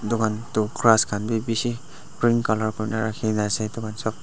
etukhan tu grass khan bi bishi green color kurina rakhina ase itu khan sob.